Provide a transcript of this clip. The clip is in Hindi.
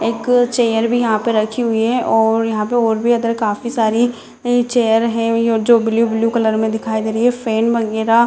एक चेयर भी यहाँ पे रखी हुई है और यहाँ पे और भी अदर काफी सारी चेयर है जो ब्लू ब्लू कलर में दिखाई दे रही है फैन वगैरा --